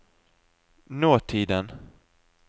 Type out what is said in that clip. nåtiden